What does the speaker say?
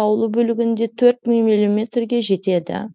таулы бөлігінде төрт мың мм ге жетеді